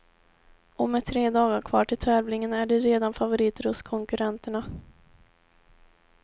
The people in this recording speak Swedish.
Och med tre dagar kvar till tävlingen är de redan favoriter hos konkurrenterna.